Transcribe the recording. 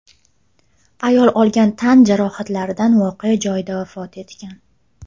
Ayol olgan tan jarohatlaridan voqea joyida vafot etgan.